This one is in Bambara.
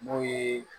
N'o ye